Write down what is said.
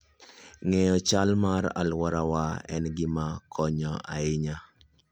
Ng'eyo chal mar alworawa en gima konyo ahinya.